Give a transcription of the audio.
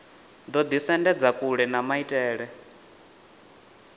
ḓo ḓisendedza kule na maitele